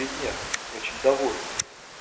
три дня очень довольные